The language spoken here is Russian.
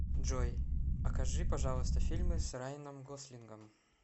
джой окажи пожалуйста фильмы с райаном гослингом